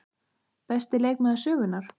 Besti leikmaður sögunnar?